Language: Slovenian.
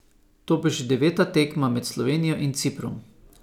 To bo že deveta tekma med Slovenijo in Ciprom.